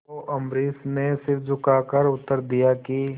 तो अम्बरीश ने सिर झुकाकर उत्तर दिया कि